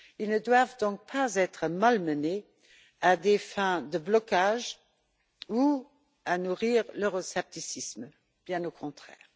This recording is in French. Ils ne doivent donc pas être malmenés à des fins de blocage ou pour nourrir l'euroscepticisme, bien au contraire.